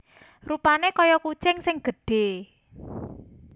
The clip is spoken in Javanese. Rupané kaya kucing sing gedhé